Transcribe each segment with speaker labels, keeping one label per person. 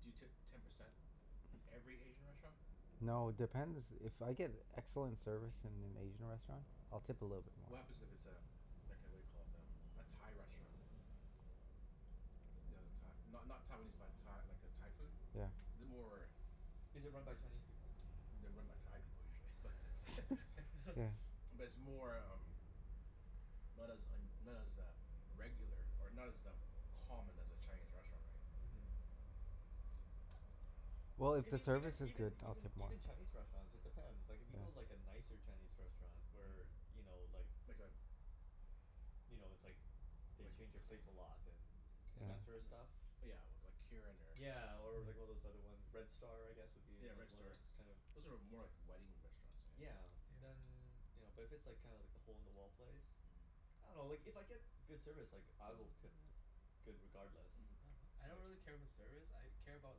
Speaker 1: do you tip ten percent in every Asian restaurant?
Speaker 2: No, it depends. If I get excellent service in an Asian restaurant I'll tip a little bit
Speaker 1: What
Speaker 2: more.
Speaker 1: happens it it's
Speaker 3: Yeah.
Speaker 1: a like a whaddya call it? Um, a Thai restaurant? You know, Thai not not Taiwanese, but Tha- like uh Thai food?
Speaker 2: Yeah.
Speaker 1: The more
Speaker 4: Is it run by Chinese people?
Speaker 1: They're run by Thai people, usually but
Speaker 2: Yeah.
Speaker 1: But it's more um not as un- not as uh regular, or not as um, common as a Chinese restaurant, right?
Speaker 4: Mhm.
Speaker 2: Well,
Speaker 1: So
Speaker 2: if the
Speaker 4: Even even
Speaker 2: service is
Speaker 4: even
Speaker 2: good I'll
Speaker 4: even
Speaker 2: tip more.
Speaker 4: even Chinese restaurants, it depends. Like if you go like
Speaker 2: Yeah.
Speaker 4: a nicer Chinese restaurant where,
Speaker 1: Mhm.
Speaker 4: you know, like
Speaker 1: Like a
Speaker 4: you know, it's like they
Speaker 1: like
Speaker 4: change your plates a lot and and
Speaker 1: Like
Speaker 4: that
Speaker 2: Yeah.
Speaker 4: sorta stuff?
Speaker 1: li- yeah, we- like Kirin or
Speaker 4: Yeah, or like one of those other one, Red Star I guess would be
Speaker 1: Yeah, Red
Speaker 4: another one of
Speaker 1: Star.
Speaker 4: those kinda
Speaker 1: Those are more like wedding restaurants, I think.
Speaker 4: Yeah,
Speaker 3: Yeah.
Speaker 4: then you know, but if it's kinda like the hole in the wall place.
Speaker 1: Mhm.
Speaker 4: I dunno, like if I get good service like I will tip good regardless.
Speaker 3: Yeah. I don't
Speaker 4: Like
Speaker 3: really care about service, I care about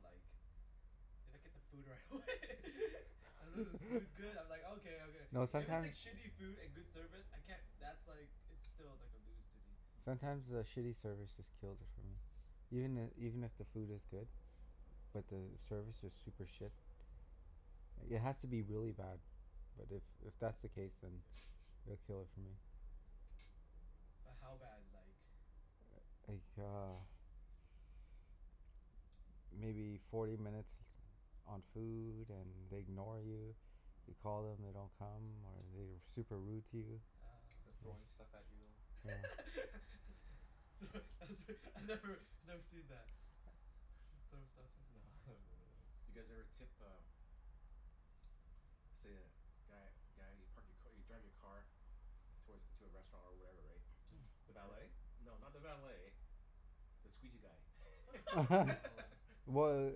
Speaker 3: like if I get the food right
Speaker 1: Mm.
Speaker 3: away. As long
Speaker 1: Mm.
Speaker 3: as the food's good, I'm like okay, okay.
Speaker 2: No,
Speaker 3: If it's like
Speaker 2: sometimes
Speaker 3: shitty food and good service, I can't that's like, it's still like a lose to me.
Speaker 2: sometimes the
Speaker 4: Mm.
Speaker 2: shitty service just kills it for me. Even i- even if the food is good but the service is super shit.
Speaker 3: Mm.
Speaker 2: It has to be really bad. But if if that's the case then
Speaker 3: Yeah.
Speaker 2: it'd kill it for me.
Speaker 3: But how bad, like?
Speaker 2: Like uh maybe forty minutes on food and they ignore you. You call them, they don't come. Or they're super rude to you.
Speaker 3: Oh.
Speaker 4: They're throwing stuff at you.
Speaker 2: Yeah.
Speaker 1: Mm.
Speaker 3: Thro- that's re- I've never, I've never seen that. Throw stuff off
Speaker 4: No, I haven't really.
Speaker 1: Do you guys ever tip uh let's say a guy guy you park your ca- you drive your car towards a, to a restaurant or wherever, right?
Speaker 4: Mm. The valet?
Speaker 1: And No, not the valet the squeegee guy.
Speaker 4: Oh.
Speaker 2: Wh-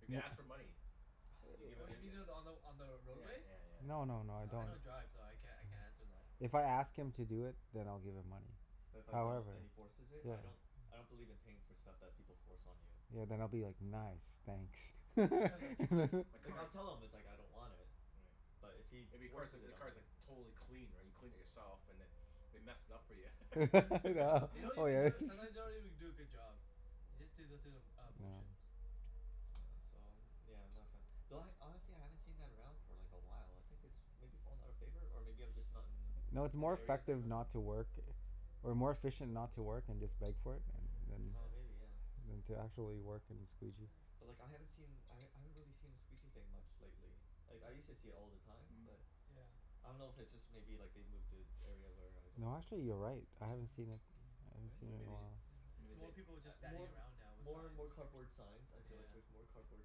Speaker 1: If he
Speaker 2: i-
Speaker 1: asks for money? Do you give
Speaker 3: Oh
Speaker 1: it y-
Speaker 3: you mean
Speaker 1: y-
Speaker 3: the, on the on the
Speaker 1: Yeah
Speaker 3: roadway?
Speaker 1: yeah yeah yeah.
Speaker 2: No no no, I
Speaker 3: Oh, I
Speaker 2: don't
Speaker 3: don't drive so I can't I can't answer that.
Speaker 2: If I ask him to do it then I'll give him money.
Speaker 4: But if I don't
Speaker 2: However
Speaker 3: Yeah.
Speaker 4: and he forces it?
Speaker 2: Yeah.
Speaker 4: I don't I don't believe in paying for stuff that people force on you.
Speaker 2: Yeah, then I'll be like, "Nice, thanks."
Speaker 1: Right. You've clea- my
Speaker 4: Like I'll
Speaker 1: car's
Speaker 4: tell him it's like I don't want it.
Speaker 1: Yeah.
Speaker 4: But if he
Speaker 1: If your car's
Speaker 4: forces
Speaker 1: like,
Speaker 4: it
Speaker 1: the
Speaker 4: on me
Speaker 1: car's like totally clean right? You cleaned it yourself and then they mess it up for ya.
Speaker 3: Yeah.
Speaker 4: Yeah.
Speaker 3: They don't even do a, sometimes they don't even do a good job. They just do the through the uh
Speaker 2: Yeah.
Speaker 3: motions.
Speaker 4: Yeah, so I'm yeah, I'm not a fan.
Speaker 1: Mm.
Speaker 4: Though I, honestly I haven't seen that around for like a while. I think it's maybe fallen out of favor? Or maybe I'm just not in
Speaker 2: No, it's
Speaker 4: in
Speaker 2: more
Speaker 4: the areas I
Speaker 2: effective
Speaker 4: go to?
Speaker 2: not to work or more efficient not to work and just beg for it, yeah than
Speaker 4: Oh,
Speaker 3: Yeah.
Speaker 4: maybe, yeah.
Speaker 2: than to actually work and squeegee.
Speaker 3: Yeah.
Speaker 4: But like I haven't seen I
Speaker 1: Mhm.
Speaker 4: h- I haven't really seen the squeegee thing much lately. Like, I used to see it all the time, but
Speaker 3: Yeah. Yeah.
Speaker 4: I don't know if it's just maybe like they've moved to
Speaker 1: Mhm.
Speaker 4: area where I don't
Speaker 2: No actually, you're
Speaker 4: venture.
Speaker 2: right. I haven't seen
Speaker 3: Yeah.
Speaker 2: it. I haven't
Speaker 4: Right?
Speaker 2: seen
Speaker 1: Then
Speaker 2: it in a
Speaker 1: maybe,
Speaker 2: while.
Speaker 3: Yeah. It's
Speaker 1: maybe they
Speaker 3: more people
Speaker 4: A
Speaker 3: just standing
Speaker 4: more
Speaker 3: around now with
Speaker 4: more
Speaker 3: signs.
Speaker 4: more cardboard signs. I
Speaker 3: Yeah
Speaker 4: feel
Speaker 3: yeah
Speaker 4: like
Speaker 3: yeah.
Speaker 4: there's more cardboard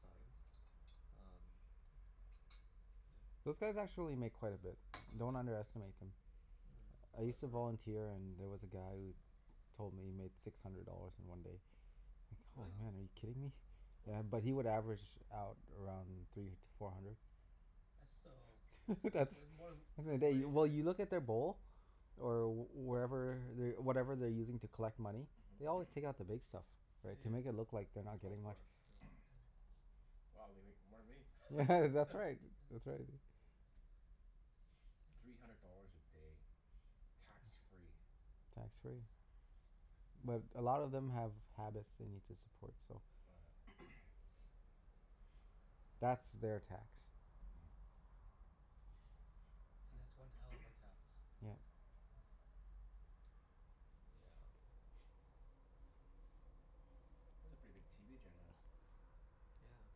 Speaker 4: signs. Um
Speaker 3: Yeah.
Speaker 2: Those guys actually make quite a bit. Don't underestimate them.
Speaker 4: Mm,
Speaker 2: I
Speaker 3: Mm.
Speaker 4: so I've
Speaker 2: used
Speaker 1: Mm.
Speaker 2: to
Speaker 4: heard.
Speaker 2: volunteer and there was a guy who told me he made six hundred dollars in one day. Like, oh
Speaker 1: Really?
Speaker 4: Wow.
Speaker 2: man, are you kidding me?
Speaker 1: Holy.
Speaker 2: Yeah, but he would average out around three to four hundred.
Speaker 3: That's still, it's
Speaker 2: That's
Speaker 3: it's more than
Speaker 2: that's in a
Speaker 3: minimum
Speaker 2: day.
Speaker 3: wage,
Speaker 2: Well,
Speaker 3: right?
Speaker 2: you look in their bowl or wherever whatever they're using to collect money. They always take out the
Speaker 4: Mm.
Speaker 2: big stuff,
Speaker 3: Yeah
Speaker 2: right?
Speaker 3: yeah
Speaker 2: To make it look
Speaker 3: yeah.
Speaker 2: like they're not
Speaker 4: Oh, of
Speaker 2: getting much.
Speaker 4: course. Yeah.
Speaker 3: Yeah.
Speaker 1: Mhm. Wow, they make more than me.
Speaker 2: Yeah,
Speaker 3: Yeah.
Speaker 2: that's right. That's right.
Speaker 1: Three hundred dollars a day. Tax free.
Speaker 2: Tax free. But a lot of them have habits they need to support, so
Speaker 1: Oh yeah.
Speaker 2: that's
Speaker 4: Yeah.
Speaker 2: their tax.
Speaker 1: Mm.
Speaker 3: And
Speaker 1: Hmm.
Speaker 3: that's one hell of a tax.
Speaker 2: Yeah.
Speaker 3: Oh.
Speaker 4: Yeah.
Speaker 1: That's a pretty big TV Jen has.
Speaker 4: Yeah.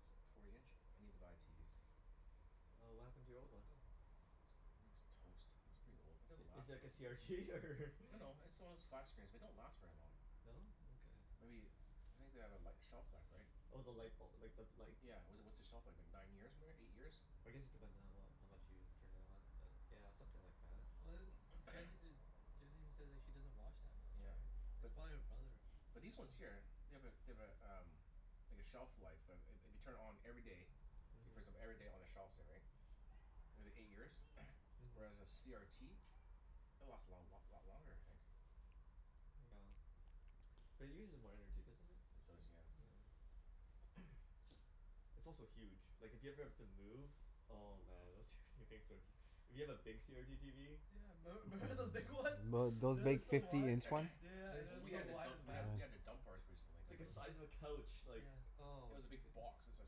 Speaker 1: That's like forty inch? I need to buy a TV, so
Speaker 4: Oh, what happened to your old one?
Speaker 3: Wh- uh
Speaker 1: It's, I think it's toast. It's pretty old.
Speaker 3: Mm.
Speaker 1: It didn't
Speaker 4: I- is
Speaker 1: last
Speaker 4: it like
Speaker 1: v-
Speaker 4: a CRT, or
Speaker 1: No no, it's the one of those flat screens, they don't last very long.
Speaker 4: No? Okay.
Speaker 1: Maybe, I think they have a li- shelf life, right?
Speaker 4: Oh, the lightbul- like, the light?
Speaker 1: Yeah, w- what's the shelf life, like nine years ma- eight years?
Speaker 4: I guess it depends on how well, how much you turn it on but yeah, something like that.
Speaker 3: Well a m- Jen e- Jen even says like she doesn't watch that much,
Speaker 1: Yeah,
Speaker 3: right? It's
Speaker 1: but
Speaker 3: probably her brother.
Speaker 1: But these ones
Speaker 3: Yeah.
Speaker 1: here, they have a they have a um like a shelf life. I- i- if you turn it on every day so you first them
Speaker 4: Mhm.
Speaker 1: every day on a shelf, say, right? If it eight years?
Speaker 4: Mhm.
Speaker 1: Whereas a CRT it'll last a long lot lot longer I think.
Speaker 4: Yeah. But it uses more energy, doesn't it?
Speaker 1: It does,
Speaker 3: Huh.
Speaker 4: Yeah.
Speaker 1: yeah.
Speaker 4: It's also huge. Like, if you ever have to move oh man, those tw- things are hu- If you have a big CRT TV.
Speaker 3: Yeah, memb- member those big ones?
Speaker 2: Mm. Th- those
Speaker 3: They were
Speaker 2: big
Speaker 3: so
Speaker 2: fifty
Speaker 3: wide.
Speaker 2: inch ones?
Speaker 3: Yeah yeah yeah,
Speaker 4: They're
Speaker 3: and it
Speaker 1: Well,
Speaker 3: was
Speaker 1: we
Speaker 3: so
Speaker 1: had to
Speaker 4: huge.
Speaker 3: wide
Speaker 1: dump,
Speaker 3: in the
Speaker 1: we had
Speaker 3: back.
Speaker 1: t- we had to
Speaker 2: Yeah.
Speaker 1: dump ours recently,
Speaker 4: It's
Speaker 1: cuz
Speaker 4: like
Speaker 1: it
Speaker 4: a
Speaker 1: was
Speaker 4: size of a couch. Like,
Speaker 3: Yeah.
Speaker 1: It
Speaker 4: oh
Speaker 1: was a big
Speaker 4: goodness.
Speaker 1: box. It was like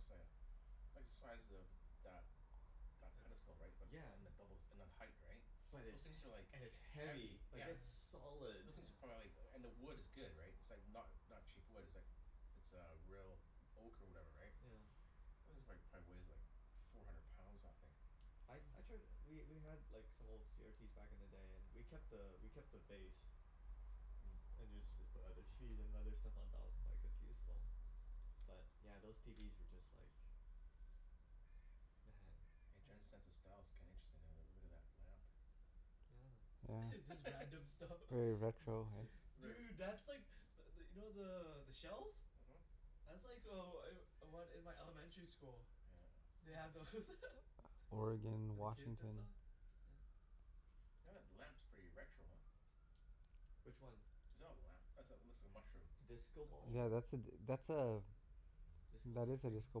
Speaker 1: say a like the size of that that
Speaker 3: Yep.
Speaker 1: pedestal, right? But,
Speaker 4: Yeah.
Speaker 1: and the doubles and then height, right?
Speaker 4: But
Speaker 1: Those
Speaker 4: it's he-
Speaker 1: things are like
Speaker 4: and it's
Speaker 1: heavy.
Speaker 4: heavy.
Speaker 3: Yeah.
Speaker 4: Like
Speaker 1: Yeah.
Speaker 4: it's solid.
Speaker 1: Those things are
Speaker 3: Yeah.
Speaker 1: probably like, and the wood is good, right? It's It's like not not cheap wood. It's like It's uh real oak or whatever, right?
Speaker 4: Yeah.
Speaker 1: This is like, probably weighs like four hundred pounds, that thing.
Speaker 4: I
Speaker 3: Mm.
Speaker 4: I tried, we we had like some old CRTs back in the day and we kept a we kept the base.
Speaker 1: Mm.
Speaker 4: And usually just put other TVs and other stuff on top. Like, it's
Speaker 3: Yeah.
Speaker 4: useful. But yeah, those TVs were just like man.
Speaker 1: Hey,
Speaker 3: Yeah.
Speaker 1: Jen's sense of style's kinda interesting. I uh look at that lamp.
Speaker 4: Yeah.
Speaker 3: It's
Speaker 2: Yeah.
Speaker 3: just random stuff.
Speaker 2: Very
Speaker 3: Yeah.
Speaker 2: retro, hey?
Speaker 4: Th-
Speaker 1: Very
Speaker 3: Dude, that's like but th- you know the the shells?
Speaker 1: Mhm.
Speaker 3: That's like oh I'm one in my elementary school.
Speaker 1: Yeah uh
Speaker 3: They had those.
Speaker 4: Aw.
Speaker 2: Oregon,
Speaker 3: For the kids and
Speaker 2: Washington.
Speaker 3: saw? Yeah.
Speaker 1: Yeah that lamp's pretty retro, huh?
Speaker 4: Which one?
Speaker 1: Is that a lamp? That's a, looks like a mushroom.
Speaker 4: The disco
Speaker 3: The
Speaker 4: ball?
Speaker 2: Yeah,
Speaker 3: mushroom?
Speaker 2: that's a d- that's a
Speaker 4: Disco
Speaker 2: that
Speaker 4: light
Speaker 2: is a
Speaker 4: thing?
Speaker 2: disco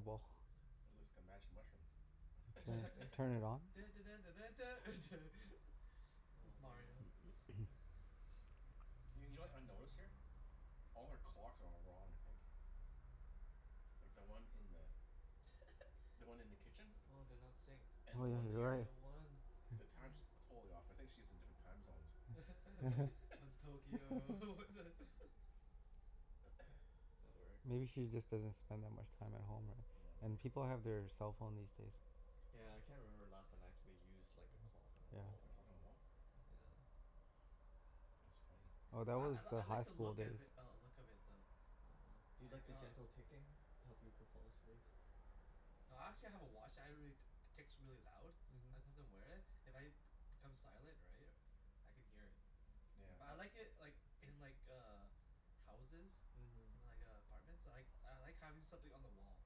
Speaker 2: ball.
Speaker 3: Mhm.
Speaker 1: It looks like a magic mushroom.
Speaker 2: Yeah. Turn it on?
Speaker 3: Dun dun dun dun dun duh, duh. It's
Speaker 4: Oh, man.
Speaker 3: Mario, yeah.
Speaker 1: Y- you know what I notice here? All her clocks are all wrong, I think. Like, the one in the the one in the kitchen?
Speaker 4: Oh, they're not synced.
Speaker 1: And
Speaker 4: Which
Speaker 1: the
Speaker 2: Oh yeah,
Speaker 1: one
Speaker 4: one's
Speaker 1: th-
Speaker 2: you're
Speaker 4: the
Speaker 1: here?
Speaker 2: right.
Speaker 4: real one?
Speaker 1: The time's
Speaker 3: Mm.
Speaker 1: totally off. I think she's in different time zones.
Speaker 3: One's Tokyo, one's a
Speaker 4: That works.
Speaker 2: Maybe she just doesn't spend that much time at home, right?
Speaker 1: Yeah, maybe.
Speaker 2: And people have their cell phone these days.
Speaker 4: Yeah, I can't remember the last time I actually used like a clock on a
Speaker 2: Yeah.
Speaker 1: A
Speaker 4: wall.
Speaker 1: clock on the wall?
Speaker 4: Yeah.
Speaker 1: That's funny.
Speaker 2: Oh, that
Speaker 3: Yeah. I
Speaker 2: was
Speaker 3: l-
Speaker 2: the
Speaker 3: I like
Speaker 2: high
Speaker 3: the
Speaker 2: school
Speaker 3: look of
Speaker 2: days.
Speaker 3: i- uh look of it though.
Speaker 4: uh-huh. Do you
Speaker 3: Like,
Speaker 4: like the
Speaker 3: uh
Speaker 4: gentle ticking to help you go fall asleep?
Speaker 3: I actually have a watch that I really, t- ticks really loud.
Speaker 4: Mhm.
Speaker 3: Sometimes I wear it. If I b- become silent, right? I can hear it.
Speaker 1: Yeah,
Speaker 3: But I
Speaker 1: but
Speaker 3: like it like in like uh houses.
Speaker 4: Mhm.
Speaker 3: In like uh apartments. I like I like having something on the wall.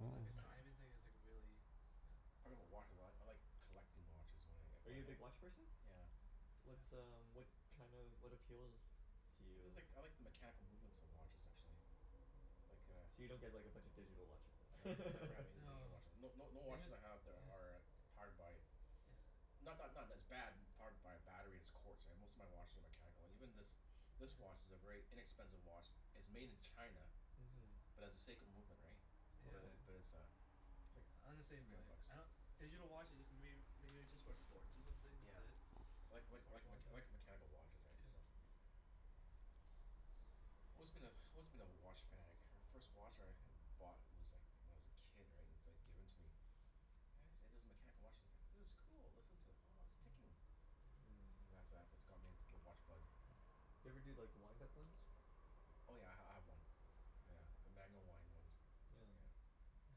Speaker 4: Yeah,
Speaker 3: So
Speaker 2: Oh.
Speaker 3: like a
Speaker 4: that's true.
Speaker 3: timing thing is like really Yeah.
Speaker 1: Talking about watches a lot. I like collecting watches oh wh- if
Speaker 4: Are
Speaker 1: I
Speaker 4: you a big
Speaker 1: h-
Speaker 4: watch person?
Speaker 1: Yeah.
Speaker 4: What's um what kind of, what appeals to
Speaker 1: It's
Speaker 4: you?
Speaker 1: like, I like the mechanical movements of watches, actually. Like a
Speaker 4: So you don't get like a bunch of digital watches
Speaker 1: I
Speaker 4: then?
Speaker 1: have never have any digital
Speaker 3: No.
Speaker 1: watches. No no no
Speaker 3: Yeah.
Speaker 1: watches I have there are powered by
Speaker 3: Yeah.
Speaker 1: Not not not that it's bad powered by a battery it's quartz Most of my watches are mechanical. Even this this watch is a very inexpensive watch it's made in China
Speaker 4: Mhm.
Speaker 1: but has a Seiko movement, right? But
Speaker 3: Yeah.
Speaker 4: Okay.
Speaker 1: it, but it's a it's
Speaker 3: Yeah, I'm the
Speaker 1: like three
Speaker 3: same
Speaker 1: hundred
Speaker 3: way.
Speaker 1: bucks.
Speaker 3: I don- Digital watches just mayb- maybe just for sports or something. That's
Speaker 1: Yeah.
Speaker 3: it.
Speaker 1: Like like
Speaker 3: Sports
Speaker 1: like mech-
Speaker 3: watches.
Speaker 1: like a mechanical watches, right?
Speaker 3: Yeah.
Speaker 1: So Always been a, always been a watch fanatic. My first watch I h- bought was like when I was a kid, right? And it's like given to me. And it's it is mechanical watch as I go, "This is cool. Listen to it. Oh, it's ticking."
Speaker 4: Mm.
Speaker 1: And after that that's got me into the watch bug.
Speaker 4: Do you ever do like the wind-up ones?
Speaker 1: Oh yeah, I h- I have one. Yeah. A manual wind ones.
Speaker 4: Yeah.
Speaker 1: Yeah.
Speaker 3: Yeah,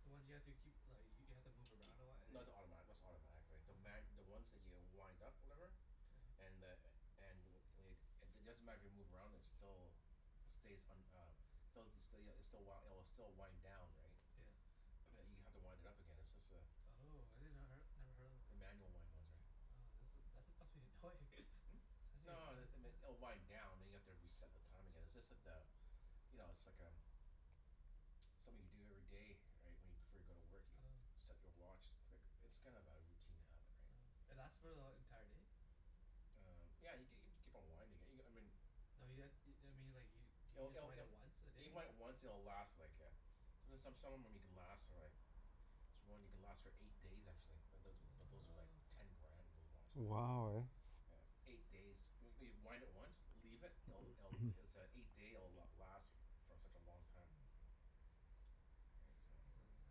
Speaker 3: the ones you have to keep li- y- you have to
Speaker 1: K-
Speaker 3: move
Speaker 1: kee-
Speaker 3: around a lot and
Speaker 1: no
Speaker 3: like
Speaker 1: that's automatic, that's not automatic, right? The ma- the ones that you wind up, whatever?
Speaker 3: Yeah huh.
Speaker 1: And the a- and w- wade it doesn't matter if you move around it's still stays un- uh Stelz the still ya it's the w- it'll still wind down, right?
Speaker 3: Yeah.
Speaker 1: But you have to wind it up again, it's just a
Speaker 3: Oh, I did not her- never heard of
Speaker 1: the
Speaker 3: them.
Speaker 1: manual wind ones, right?
Speaker 3: Oh, that's a that's must be annoying.
Speaker 1: Hmm?
Speaker 3: Must be
Speaker 1: No
Speaker 3: annoying.
Speaker 1: it it m- oh wind down and you have to reset the time again. It's just that uh You know, it's like um something you do every day, right? When you, before you go to work, you
Speaker 3: Oh.
Speaker 1: set your watch. Click. It's kind of a routine habit, right?
Speaker 3: Oh. And that's for the e- entire day?
Speaker 1: Um, yeah y- g- you keep on winding it, you g- I mean
Speaker 3: No you ha- i- I mean like you do you
Speaker 1: It'll
Speaker 3: just
Speaker 1: it'll
Speaker 3: wind
Speaker 1: it'll
Speaker 3: it once a
Speaker 1: You
Speaker 3: day?
Speaker 1: might once and it'll last like a there's some, some of them you can last for like this one you can last for eight days, actually. It doesn't but those are like
Speaker 3: Oh,
Speaker 1: ten
Speaker 3: okay.
Speaker 4: Yeah.
Speaker 1: grand, those watches, right?
Speaker 2: Wow, right?
Speaker 3: Oh.
Speaker 1: Yeah, eight days. When y- wind it once Leave it. It'll it'll it's a eight day it'll last for such a long time.
Speaker 3: Mm.
Speaker 1: Right? So
Speaker 3: Mm.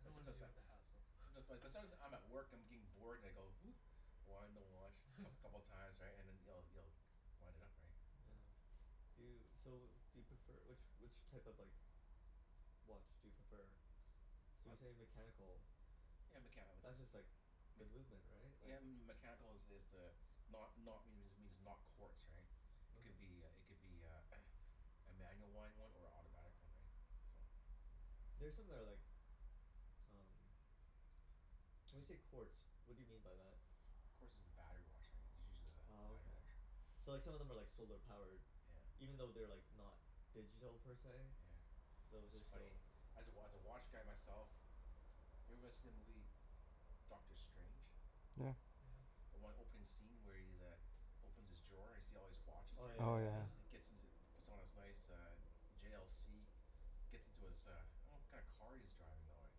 Speaker 3: I
Speaker 1: But
Speaker 3: don't wanna
Speaker 1: sometimes
Speaker 3: deal
Speaker 1: that
Speaker 3: with the hassle.
Speaker 1: Someti- but sometimes I'm at work, I'm getting bored, and I go Wind the watch coup- couple of times, right? And then you'll you'll wind it up, right?
Speaker 4: Yeah. Do you,
Speaker 1: Yeah.
Speaker 4: so do you prefer, which which type of like watch do you prefer? So
Speaker 1: I
Speaker 4: you say mechanical.
Speaker 1: Yeah, mechani- like
Speaker 4: That's
Speaker 1: mm
Speaker 4: just like the
Speaker 1: mech-
Speaker 4: movement, right?
Speaker 1: Yeah,
Speaker 4: Like
Speaker 1: m- m- m- mechanical is is the not not means it means not quartz, right? It could be a
Speaker 4: Okay.
Speaker 1: it could be a a manual wind one or a autobatic one, right? So
Speaker 4: There's something that I like um When you
Speaker 1: Tis-
Speaker 4: say quartz, what do you mean by that?
Speaker 1: Quartz is a battery watch, right? It's usually the
Speaker 4: Oh,
Speaker 1: battery
Speaker 4: okay.
Speaker 1: watch.
Speaker 4: So, like some of them are like solar powered?
Speaker 1: Yeah.
Speaker 4: Even though they're like not digital, per se?
Speaker 1: Yeah.
Speaker 4: Those
Speaker 1: It's
Speaker 4: are
Speaker 1: funny.
Speaker 4: still
Speaker 1: As a wa- as a watch guy myself Have you ever watched them Lee Dr. Strange?
Speaker 2: Yeah.
Speaker 3: Yeah.
Speaker 1: The one opening scene where he's uh opens his drawer and you see all these watches
Speaker 4: Oh, yeah
Speaker 1: there?
Speaker 2: Oh
Speaker 4: yeah
Speaker 2: yeah.
Speaker 4: yeah.
Speaker 1: And it
Speaker 3: Yeah.
Speaker 1: gets into puts on his nice uh J l c gets into his uh I don't know what kind of car he's driving though, eh?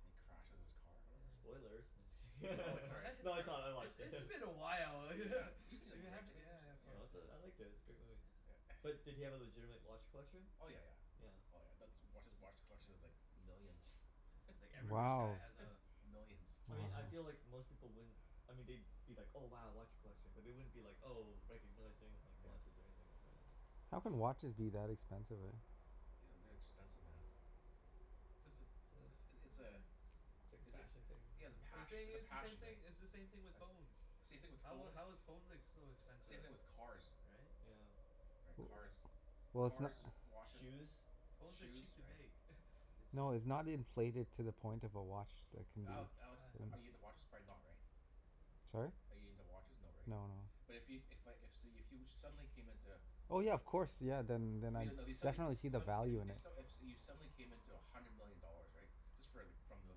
Speaker 1: And he crashes his car or whatever.
Speaker 3: Yeah.
Speaker 4: Spoilers. No, just
Speaker 1: Oh, wait,
Speaker 4: kidding.
Speaker 1: sorry.
Speaker 3: What?
Speaker 4: No,
Speaker 1: Sorry.
Speaker 4: it's all, I
Speaker 3: It's
Speaker 4: watched it.
Speaker 3: it's been a while.
Speaker 1: Yeah. You've seen the
Speaker 3: Yeah,
Speaker 1: movie,
Speaker 3: yeah
Speaker 1: right Jimmy? You s-
Speaker 3: yeah of
Speaker 1: yeah.
Speaker 3: course,
Speaker 4: No, it's a, I
Speaker 3: yeah.
Speaker 4: liked it. It's a good movie.
Speaker 1: Yeah.
Speaker 3: Yeah.
Speaker 4: But did he have a legitimate watch collection?
Speaker 1: Oh, yeah yeah.
Speaker 3: Yeah.
Speaker 4: Yeah.
Speaker 1: Oh yeah. That's watch, his watch collection is like millions.
Speaker 3: Yeah. Yeah, like every rich guy
Speaker 2: Wow.
Speaker 3: has a
Speaker 1: Millions.
Speaker 4: I mean I feel
Speaker 3: Yeah.
Speaker 4: like
Speaker 2: Wow.
Speaker 4: most people wouldn't I mean they'd be like, "Oh, wow, watch collection." But they wouldn't be like, oh, recognizing like
Speaker 1: Yeah.
Speaker 4: watches or anything like that.
Speaker 3: Mm.
Speaker 2: How can watches be that expensive, right?
Speaker 1: Ooh, they're expensive, man. Just the i- i- it's a
Speaker 4: It's like a
Speaker 1: is it
Speaker 4: fashion thing,
Speaker 1: yeah, it's a
Speaker 3: But the
Speaker 4: maybe?
Speaker 1: pash-
Speaker 3: thing
Speaker 1: it's a
Speaker 3: is, it's the same
Speaker 1: passion, right?
Speaker 3: thing, it's the same thing with
Speaker 1: That's
Speaker 3: phones.
Speaker 1: same thing with
Speaker 3: How
Speaker 1: phones.
Speaker 3: how is phones ex- so
Speaker 1: S- same
Speaker 3: expensive?
Speaker 1: thing with cars.
Speaker 3: Right?
Speaker 4: Yeah.
Speaker 1: Right.
Speaker 2: W-
Speaker 1: Cars.
Speaker 2: Well, it's no-
Speaker 1: Cars, watches
Speaker 4: Shoes.
Speaker 3: Phones are
Speaker 1: shoes,
Speaker 3: cheap to
Speaker 1: right.
Speaker 3: make. It's just
Speaker 2: No, it's not inflated to the point of a watch that can be
Speaker 1: Ale- Alex,
Speaker 3: I
Speaker 1: are you
Speaker 2: um
Speaker 1: into watches? Probably not, right?
Speaker 2: Sorry?
Speaker 1: Are you into watches? No, right?
Speaker 2: No, no.
Speaker 1: But if yo- if I if so you if you suddenly came into
Speaker 2: Oh yeah, of course. Yeah, then then
Speaker 1: But
Speaker 2: I'd
Speaker 1: you no if you suddenly e-
Speaker 2: definitely see
Speaker 1: s-
Speaker 2: the
Speaker 1: some
Speaker 2: value
Speaker 1: i-
Speaker 2: in
Speaker 1: if
Speaker 2: it.
Speaker 1: s- if you suddenly came into a hundred million dollars, right? Just for like from the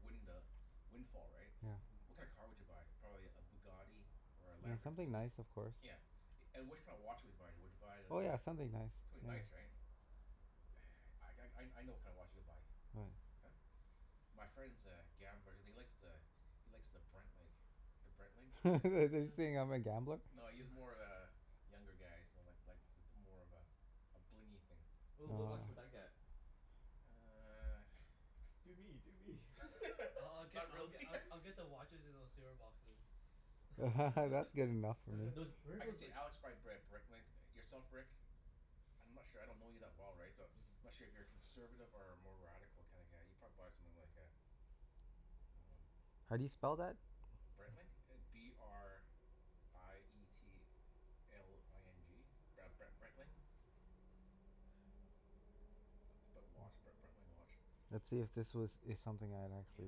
Speaker 1: winning the windfall, right?
Speaker 2: Yeah.
Speaker 1: What
Speaker 4: Mhm.
Speaker 1: kinda car would you buy? Probably a Bugatti? Or a
Speaker 2: Yeah, something
Speaker 1: Lamborghini?
Speaker 2: nice of course.
Speaker 1: Yeah. And which kind of watch would you buy? Would you buy the
Speaker 2: Oh
Speaker 1: the
Speaker 2: yeah, something nice,
Speaker 1: Something
Speaker 2: yeah.
Speaker 1: nice, right? I g- I I know what kinda watch you'll buy.
Speaker 2: What?
Speaker 1: Huh? My friend's a gambler and he likes the he likes the Breitling. The Breitling. Oh.
Speaker 2: Are you saying
Speaker 3: uh-huh.
Speaker 2: I'm a gambler?
Speaker 1: No, he's more of a younger guy, so like like it's it's more of a a blingy thing.
Speaker 4: Ooh, what
Speaker 2: Oh
Speaker 4: watch would I
Speaker 2: yeah.
Speaker 4: get?
Speaker 1: You uh
Speaker 4: Do me! Do me!
Speaker 3: I I I'll get
Speaker 1: Not
Speaker 3: I'll
Speaker 1: really.
Speaker 3: get I I'll get the watches in those c r boxes.
Speaker 2: That's good enough for
Speaker 1: Uh,
Speaker 2: me.
Speaker 4: Those, where are
Speaker 1: I could
Speaker 4: those
Speaker 1: see
Speaker 4: like
Speaker 1: Alex buy a Br- Breitling. Yourself Rick? I'm not sure. I don't know you that well, right? So I'm
Speaker 4: Mhm.
Speaker 1: not sure if you're a conservative or a more radical kinda guy. You'd probably buy something like a Um
Speaker 2: How do you spell that?
Speaker 1: Breitling? B r i e t l i n g Br- Bre- Breitling. P- put watch, B- Breitling watch.
Speaker 2: Let's see if this was is something I'd
Speaker 1: Yeah.
Speaker 2: actually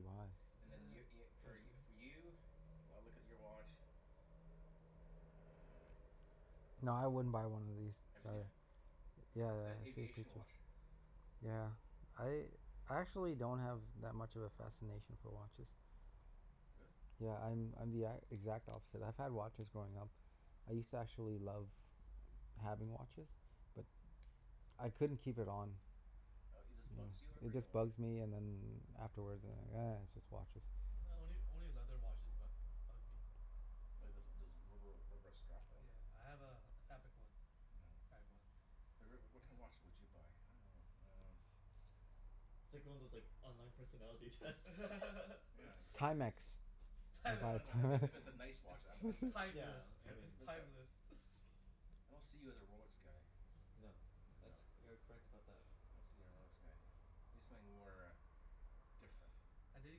Speaker 2: buy.
Speaker 1: And
Speaker 4: Okay.
Speaker 1: then y- y-
Speaker 4: Go
Speaker 1: for
Speaker 4: ahead,
Speaker 1: y- for
Speaker 4: do
Speaker 1: you? I'll look at your watch Ah
Speaker 2: Nah, I wouldn't buy one of these.
Speaker 1: Have you seen
Speaker 2: Sorry.
Speaker 1: it?
Speaker 2: Yeah,
Speaker 1: It's
Speaker 2: yeah.
Speaker 1: a
Speaker 2: The same
Speaker 1: aviation
Speaker 2: features.
Speaker 1: watch.
Speaker 2: Yeah. I I actually don't have that much of a fascination for watches.
Speaker 1: Really?
Speaker 2: Yeah, I'm I'm the e- exact opposite. I've had watches growing up. I used to actually love having watches. But I couldn't keep it on.
Speaker 1: Uh it just bugs you or
Speaker 2: Yeah,
Speaker 1: whatever?
Speaker 2: it
Speaker 1: You don't
Speaker 2: just
Speaker 1: like it?
Speaker 2: bugs me and then afterwards I'm like
Speaker 1: Oh.
Speaker 2: "Ah, it's just watches."
Speaker 3: Only only leather watches bu- bug me.
Speaker 1: Well there's there's rubber rubber strap
Speaker 3: Oh
Speaker 1: one.
Speaker 3: yeah, I have a a fabric one.
Speaker 1: Nyeah.
Speaker 3: Fabric one.
Speaker 1: So Rick, w- what kind of watch
Speaker 3: Yeah.
Speaker 1: would you buy? I dunno. Um
Speaker 4: It's like one of those like online personality tests.
Speaker 1: Yeah, exactly.
Speaker 2: Timex. You'd buy a
Speaker 1: No, no, I mean if it
Speaker 2: Time-
Speaker 1: if it's a nice
Speaker 3: It's
Speaker 1: watch I'd b- I'd
Speaker 3: it's
Speaker 1: be like
Speaker 4: Yeah,
Speaker 3: timeless.
Speaker 4: I
Speaker 1: Yeah,
Speaker 4: mean
Speaker 1: like
Speaker 3: It's
Speaker 1: look at
Speaker 3: timeless.
Speaker 1: I don't see you as a Rolex guy.
Speaker 4: No. That's,
Speaker 1: No.
Speaker 4: you are correct about that.
Speaker 1: I don't see you a Rolex guy. Maybe something more uh different.
Speaker 3: I did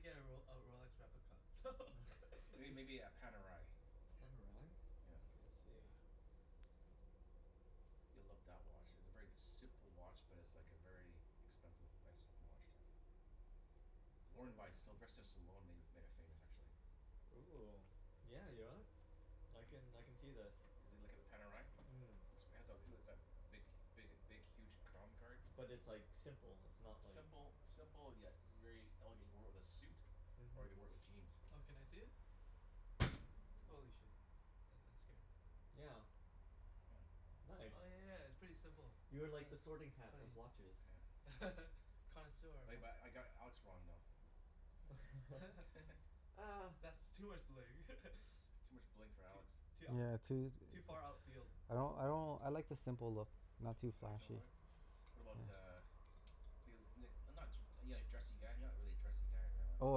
Speaker 3: get a Rol- a Rolex replica.
Speaker 1: Are you
Speaker 4: It
Speaker 1: maybe a Panerai?
Speaker 4: Pan o rye?
Speaker 1: Yeah.
Speaker 4: Okay, let's see.
Speaker 1: You'll love that watch. It's a very simple watch, but it's like a very expensive, nice looking watch, too. Worn by Sylvester
Speaker 4: Panerai.
Speaker 1: Stallone made it made it famous, actually.
Speaker 4: Ooh, yeah, you know what? I can I can see this.
Speaker 1: You l- look at the Panerai?
Speaker 4: Mm.
Speaker 1: Looks pants off it'll is that big big big huge crown card.
Speaker 4: But it's like simple, it's not like
Speaker 1: Simple simple yet very elegant. He wore it with a suit. Or you could wear
Speaker 4: Mhm.
Speaker 1: it with jeans.
Speaker 3: Oh, can I see it?
Speaker 1: Ooh.
Speaker 3: Holy shit, that that scared me.
Speaker 4: Yeah.
Speaker 1: Yeah.
Speaker 4: Nice.
Speaker 3: Oh yeah yeah, it's pretty simple.
Speaker 4: You are like the sorting
Speaker 3: Huh.
Speaker 4: hat of
Speaker 3: Clean.
Speaker 4: watches.
Speaker 1: Yeah.
Speaker 3: Connoisseur of
Speaker 1: Like
Speaker 3: what?
Speaker 1: but I got Alex wrong, though.
Speaker 4: Ah
Speaker 3: That's too much bling.
Speaker 1: Too much bling for
Speaker 3: Too
Speaker 1: Alex.
Speaker 3: too
Speaker 2: Yeah, too
Speaker 3: ou- too far outfield
Speaker 2: I don't, I don't, I like the simple look. Not too
Speaker 1: You like
Speaker 2: flashy.
Speaker 1: simple What about
Speaker 2: Yeah.
Speaker 1: uh Feel it n- not too are you like dressy guy? You're not really a dressy guy, right Alex?
Speaker 2: Oh,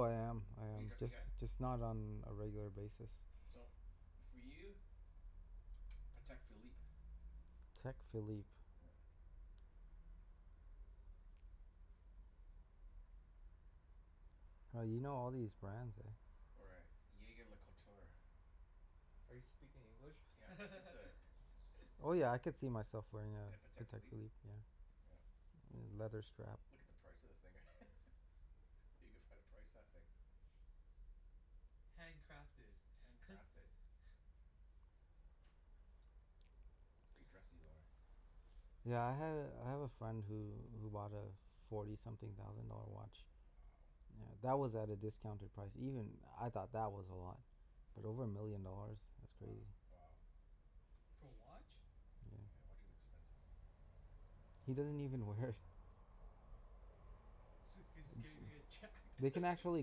Speaker 2: I am I
Speaker 1: Are you
Speaker 2: am.
Speaker 1: dressy
Speaker 2: Just
Speaker 1: guy?
Speaker 2: just not on a regular basis.
Speaker 1: So, for you Patek Philippe.
Speaker 2: Patek Philippe.
Speaker 1: Yeah.
Speaker 2: Oh, you know all these brands, eh?
Speaker 1: Or a jaeger-lecoultre.
Speaker 4: Are you speaking English?
Speaker 1: Yeah. It's a it's
Speaker 2: Oh yeah, I
Speaker 1: a
Speaker 2: could see myself wearing
Speaker 1: In a
Speaker 2: a
Speaker 1: Patek
Speaker 2: Patek
Speaker 1: Philippe?
Speaker 2: Philippe, yeah.
Speaker 1: Yeah.
Speaker 2: Yeah, leather strap.
Speaker 1: Look at the price of the thing. You can find a price of that thing.
Speaker 3: Hand crafted.
Speaker 1: Hand crafted. Pretty dressy though, eh?
Speaker 2: Yeah, I had a, I have a friend who who bought a forty something thousand dollar watch.
Speaker 1: Wow.
Speaker 2: Yeah. That was at a discounted price. Even I thought that was a lot. But over a million dollars? That's
Speaker 1: Wo-
Speaker 2: crazy.
Speaker 1: wow.
Speaker 3: For a watch?
Speaker 2: Yeah.
Speaker 1: Yeah, watch is expensive.
Speaker 2: He
Speaker 3: Mm.
Speaker 2: doesn't even wear it.
Speaker 3: Jus- cuz scared he's gonna get jacked.
Speaker 2: They can actually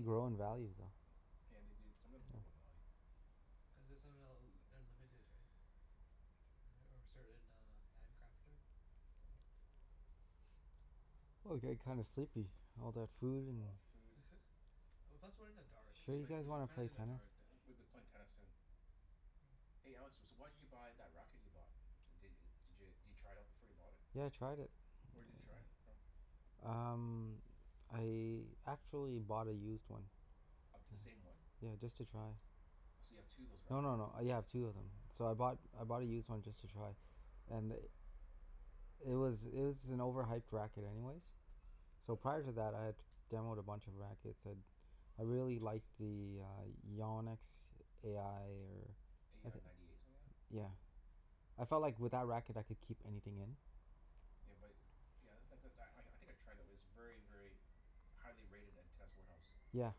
Speaker 2: grow in value, though.
Speaker 1: Yeah, they do, some of them
Speaker 3: Yeah.
Speaker 1: grow in value.
Speaker 3: Cuz it somehow l- they're limited, right? Right? Or a certain uh hand crafter?
Speaker 1: Yeah.
Speaker 2: Oh, I'm getting kind of sleepy. All that food and
Speaker 1: All that food.
Speaker 3: Well, plus we're in the dark,
Speaker 1: We
Speaker 2: Sure
Speaker 1: should
Speaker 3: too.
Speaker 2: you
Speaker 1: play,
Speaker 2: guys
Speaker 1: we should,
Speaker 3: We're
Speaker 1: w-
Speaker 2: wanna
Speaker 3: kinda
Speaker 2: play
Speaker 3: in the
Speaker 2: tennis?
Speaker 3: dark duh
Speaker 1: w- we be playing tennis soon.
Speaker 3: Oh.
Speaker 1: Hey Alex, s- so why did you buy that racket you bought? D- d- did you try it out before you bought it?
Speaker 2: Yeah, I tried it.
Speaker 1: Where did you try it from?
Speaker 2: Um, I actually bought a used one.
Speaker 1: Of the same one?
Speaker 2: Yeah, just to try.
Speaker 1: Oh, so you have two of those
Speaker 2: No
Speaker 1: rackets
Speaker 2: no no.
Speaker 1: now?
Speaker 2: Yeah, I have two of them. So I bought, I bought a used one just to try. And i- it was it was an overhyped racket anyways. So
Speaker 1: Uh
Speaker 2: prior to that I had demoed a bunch of rackets and I really liked the uh Yannick's a i or
Speaker 1: A i ninety eight, something like that?
Speaker 2: Yeah. I felt like with that racket I could keep anything in.
Speaker 1: Yeah but, yeah that's not, cuz I I think I tried it. It was very, very highly rated at test warehouse.
Speaker 2: Yeah,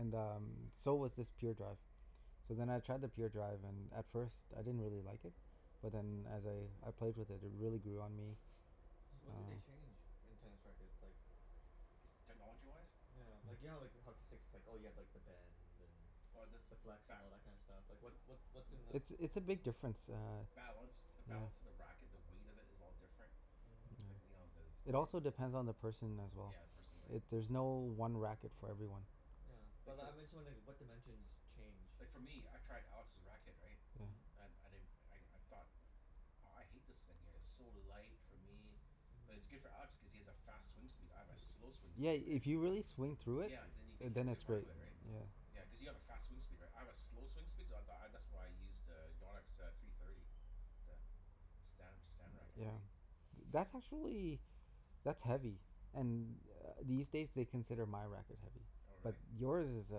Speaker 2: and um so was this Pure Drive. So then I tried the Pure Drive and at first, I didn't really like it. But then as I I played with it, it really grew on me.
Speaker 4: So, what do they
Speaker 2: Uh
Speaker 4: change in tennis rackets? Like
Speaker 1: technology-wise?
Speaker 4: Yeah. Like, you know like how hockey sticks it's like, oh you have like the bend and
Speaker 1: Oh this,
Speaker 4: the flex, and
Speaker 1: ba-
Speaker 4: all that kind of stuff? Like what what what's in the
Speaker 2: It's it's a big difference, uh
Speaker 1: Balance. The
Speaker 2: Yeah.
Speaker 1: balance of the racket. The weight of it is all different.
Speaker 4: Mhm.
Speaker 1: It's like, you know, there's
Speaker 2: Yeah. It
Speaker 1: grommet
Speaker 2: also
Speaker 1: hole
Speaker 2: depends on the person as well.
Speaker 1: Yeah, the person, right?
Speaker 2: It, there's no one racket for everyone.
Speaker 4: Yeah, but
Speaker 1: Like,
Speaker 4: li-
Speaker 1: for
Speaker 4: I'm just wondering what dimensions change?
Speaker 1: Like for me, I tried Alex's racket, right?
Speaker 2: Yeah.
Speaker 4: Mhm.
Speaker 1: And I di- I I thought that aw I hate this thing here. It's so light for me. But it's
Speaker 4: Mhm.
Speaker 1: good for Alex cuz he has a fast swing speed. I have a slow swing
Speaker 2: Yeah,
Speaker 1: speed, right?
Speaker 2: if you really swing through it
Speaker 1: Yeah, then you can hit
Speaker 2: then
Speaker 1: really
Speaker 2: it's
Speaker 1: hard
Speaker 2: great.
Speaker 1: with it, right?
Speaker 2: Yeah.
Speaker 1: Yeah,
Speaker 3: Mhm.
Speaker 4: Mm.
Speaker 1: cuz you have a fast swing speed, right? I have a slow swing speed so th- I that's why I use to Yannick's uh three thirty. The Stan Stan racket,
Speaker 2: Yeah.
Speaker 1: right?
Speaker 2: That's actually that's heavy. And uh these days they consider my racket heavy.
Speaker 1: Oh,
Speaker 2: But
Speaker 1: really?
Speaker 2: yours is uh,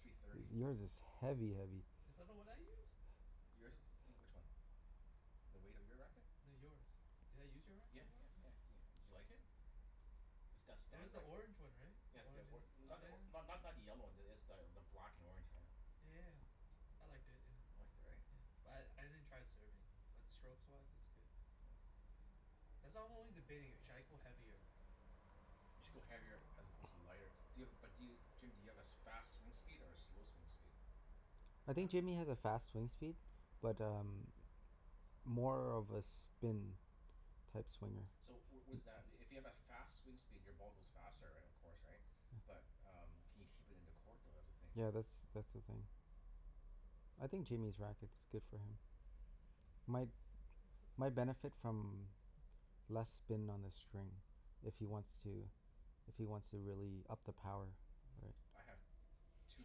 Speaker 1: Three thirty.
Speaker 2: yours is heavy heavy.
Speaker 3: Is that the one I use?
Speaker 1: Yours is e- which one? The weight of your racket?
Speaker 3: No, yours. Did I use your
Speaker 1: Yeah
Speaker 3: racket before?
Speaker 1: yeah
Speaker 3: Huh.
Speaker 1: yeah yeah. Did you like it? The St-
Speaker 3: It was
Speaker 1: Stan
Speaker 3: the
Speaker 1: rack-
Speaker 3: orange one, right? The
Speaker 1: Yeah the
Speaker 3: orange
Speaker 1: or-
Speaker 3: and, oh
Speaker 1: not the or-
Speaker 3: yeah.
Speaker 1: not not the yellow one. It's the the black and orange, yeah.
Speaker 3: Yeah yeah yeah. I liked it, yeah.
Speaker 1: You liked it, right?
Speaker 3: Yeah. But I I didn't try it serving. But strokes-wise it's good, yeah.
Speaker 1: Yeah.
Speaker 3: That's I'm only debating. Should I go heavier?
Speaker 1: You should go heavier as opposed to lighter. Do you have a, but do you, Jim do you have as fast swing speed or a slow swing speed?
Speaker 2: I
Speaker 3: Huh?
Speaker 2: think Jimmy has a fast swing speed. But um more of a spin type swinger.
Speaker 1: So w- was that i- if you have a fast swing speed your ball goes faster, right, of course, right? But um can you keep it in the court though? That's the thing.
Speaker 2: Yeah, that's that's the thing. I think Jimmy's racket's good for him. My my benefit from less spin on the string. If he wants
Speaker 3: Hmm.
Speaker 2: to if he wants to really up the power,
Speaker 3: Mm.
Speaker 2: right?
Speaker 1: I have too